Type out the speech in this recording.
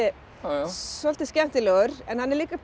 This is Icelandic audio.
svolítið skemmtilegur en hann er